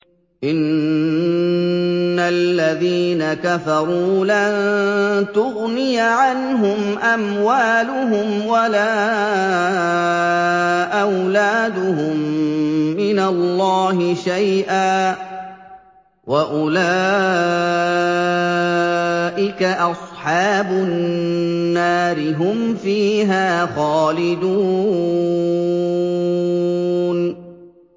إِنَّ الَّذِينَ كَفَرُوا لَن تُغْنِيَ عَنْهُمْ أَمْوَالُهُمْ وَلَا أَوْلَادُهُم مِّنَ اللَّهِ شَيْئًا ۖ وَأُولَٰئِكَ أَصْحَابُ النَّارِ ۚ هُمْ فِيهَا خَالِدُونَ